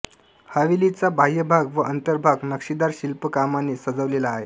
हवेलीचा बाह्यभाग व अंतर्भाग नक्षीदार शिल्पकामाने सजवलेला आहे